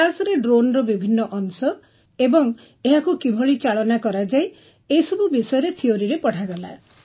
କ୍ଲାସ୍ରେ ଡ୍ରୋନ୍ର ବିଭିନ୍ନ ଅଂଶ ଏହାକୁ କିଭଳି ଚାଳନା କରାଯାଏ ଏ ସବୁ ବିଷୟରେ ଥ୍ୟୋରୀରେ ପଢ଼ାଗଲା